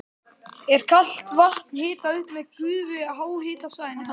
Er kalt vatn hitað upp með gufu frá háhitasvæðinu þar.